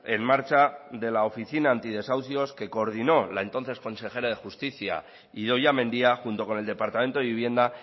en marcha de la oficina antideshaucios que coordinó la entonces consejera de justicia idoia mendia junto con el departamento de vivienda